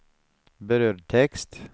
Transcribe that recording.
brödtext